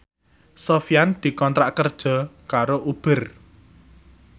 Sofyan dikontrak kerja karo Uber